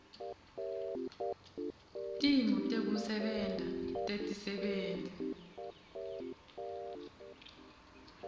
timo tekusebenta tetisebenti